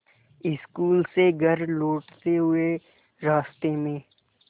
school से घर लौटते हुए रास्ते में